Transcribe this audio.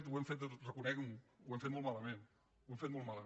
ho hem fet reconeguin·ho ho hem fet molt mala·ment ho hem fet molt malament